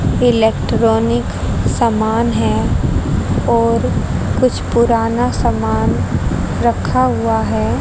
Electronic समान है और कुछ पुराना समान रखा हुआ है।